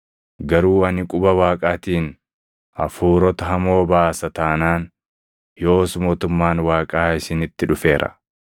Garuu ani quba Waaqaatiin hafuurota hamoo baasa taanaan, yoos mootummaan Waaqaa isinitti dhufeera.